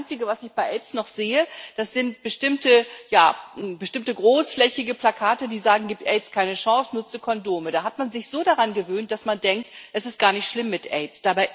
Denn das Einzige, was ich bei Aids noch sehe, das sind bestimmte großflächige Plakate, die sagen Gib Aids keine Chance, nutze Kondome! Da hat man sich so daran gewöhnt, dass man denkt, es ist gar nicht schlimm mit Aids.